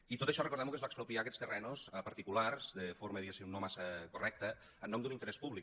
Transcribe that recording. i tot això recordem ho que es va expropiar aquests terrenys a particulars de forma diguem ne no massa correcta en nom d’un interès públic